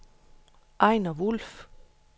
Ejner Wolff